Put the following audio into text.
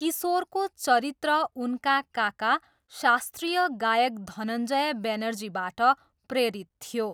किशोरको चरित्र उनका काका शास्त्रीय गायक धनञ्जय बेनर्जीबाट प्रेरित थियो।